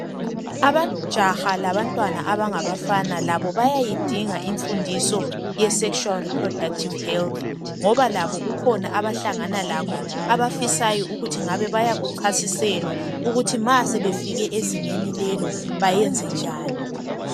amajaha labantwana abangabafana labo bayayidinga imfundiso ye sexual reproductive health ngoba labo kukhona abahlangana lakho abafisayo ukuthi ngabe bayakucasiselwa ukuthi ma sebefike ezingeni lelo bayenze njani